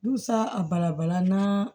Dusa a bala bala na